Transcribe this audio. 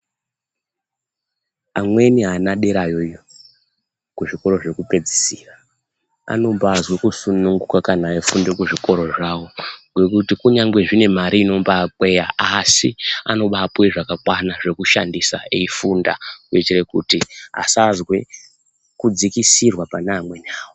Amweni ana derayo iyo kuzvikora zvekupedzisira anombazwe kusunguka kana eifunde kuzvikoro zvawo ngekuti kunyangwe zvine mari inombakweya asi anombapuwe zvakakwana zvokushandisa eifunda kuitire kuti asazwe kudzikisirwa pana amweni awo.